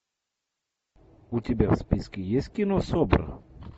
у тебя в списке есть кино собр